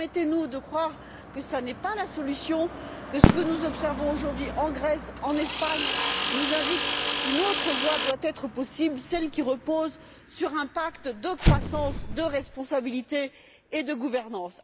Permettez nous de croire que ce n'est pas la solution et que ce que nous observons aujourd'hui en Grèce ou en Espagne nous indique qu'une autre voie doit être possible, celle qui repose sur un pacte de croissance, de responsabilité et de gouvernance.